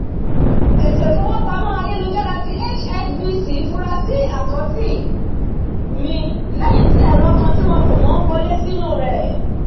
ètò ifowópamọ́ ayélujára tí hsbc fura si àkáǹtì mi lẹ́yìn tí ẹ̀rọ kan tí wọn kò mọ̀ wọlé sínu rẹ̀